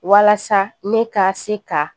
Walasa ne ka se ka